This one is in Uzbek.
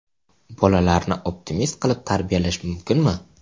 Bolalarni optimist qilib tarbiyalash mumkinmi?.